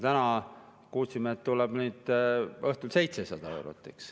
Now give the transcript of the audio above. Täna kuulsime, et õhtul tuleb 700 eurot.